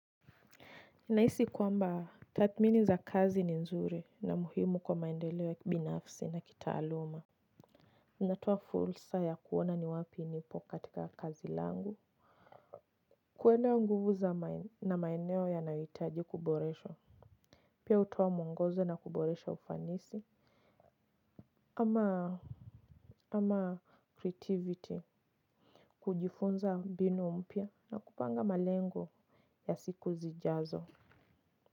Nahisi kwamba tathmini za kazi ni nzuri na muhimu kwa maendeleo ya binafisi na kitaaluma. Inatoa fursa ya kuona ni wapi nipo katika kazi langu. Kuona nguvu na maeneo yanayohitaji kuboreshwa. Pia hutoa mwongozo na kuboresha ufanisi, ama, ama creativity. Kujifunza mbinu mpya na kupanga malengo ya siku zijazo.